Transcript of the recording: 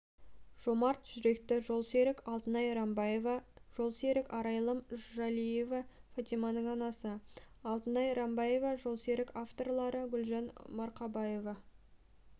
жомарт жүректі жолсерік алтынай рамбаева жолсерік арайлым жалиева фатиманың анасы алтынай рамбаева жолсерік авторлары гүлжан марқабаева